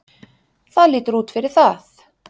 Það lítur út fyrir það.